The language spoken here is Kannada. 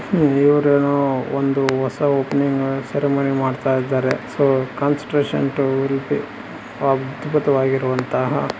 ಇವರೇನೋ ಒಂದು ಹೊಸ ಓಪನಿಂಗ್ ಸೆರೆಮನಿ ಮಾಡ್ತಾ ಇದ್ದಾರೆ. ಸೋ ಕನ್ಸ್ಟ್ರಕ್ಷನ್ ಟು ಉಲ್ಪಿ ಅದ್ಬುತವಾಗಿರುವಂತಹ--